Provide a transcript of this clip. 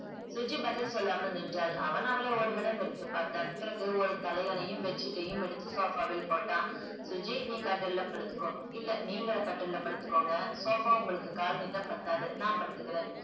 சுஜி பதில் சொல்லாமல் நின்றால் அவன் அவளை ஒருகணம் வெறித்துப்பார்த்தான் பிறகு ஒரு தலையணையும் ஒரு bedsheet ம் எடுத்து sofa ல் போட்டான் சுஜி நீ கட்டில்ல படுத்துக்கோ இல்ல நீங்க கட்டில்ல படுத்துக்கோங்க sofa உங்களுக்கு கால் நீட்ட பத்தாது நா படுத்துக்குறேன்